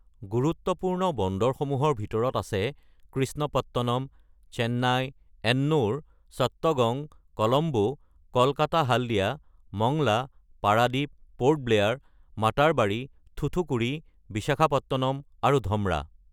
গুৰুত্বপূৰ্ণ বন্দৰসমূহৰ ভিতৰত আছে কৃষ্ণপট্টনম, চেন্নাই, এনোৰ, চট্টগং, কলম্বো, কলকাতা-হালদিয়া মংলা, পাৰাদীপ, প’ৰ্ট ব্লেয়াৰ, মাতাৰবাৰী, থুথুকুডি, বিশাখাপট্টনম আৰু ধমৰা।